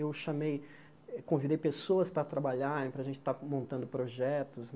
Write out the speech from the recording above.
Eu chamei, convidei pessoas para trabalhar, para a gente estar montando projetos.